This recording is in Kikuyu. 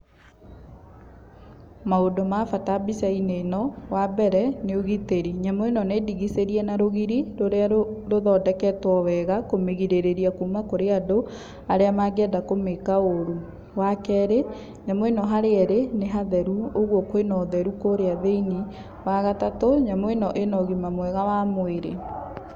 Maũndũ ma bata mbica-inĩ ĩno, wa mbere, nĩ ũgitĩri, nyamũ ĩno nĩ ndigicĩrie na rũgiri rũrĩa rũthondeketwo wega kũmĩgirĩrĩria kuma kũrĩ andũ arĩa mangĩenda kũmĩka ũru. Wa kerĩ, nyamũ ĩno harĩa ĩrĩ nĩ hatheru, ũguo kwĩna ũtheru kũrĩa thĩiniĩ. Wa gatatũ, nyamũ ĩno ĩna ũgima mwega wa mwĩrĩ.